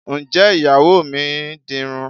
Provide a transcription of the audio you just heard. Ǹjẹ́ Ìyàwó mi dirun?